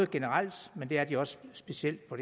generelt men det er de også specielt på